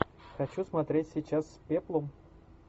хочу смотреть сейчас с пеплом